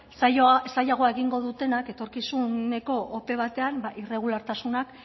zailagoa egingo dutenak etorkizuneko ope batean irregulartasuna